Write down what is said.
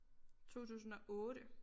2008